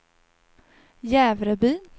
Jävrebyn